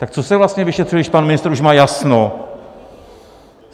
Tak co se vlastně vyšetřuje, když pan ministr už má jasno?